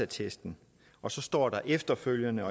testen og så står der efterfølgende